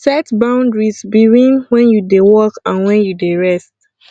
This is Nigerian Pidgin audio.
set boundaries beween when you dey work and when you dey rest